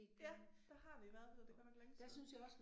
Ja der har vi været og det godt nok længe siden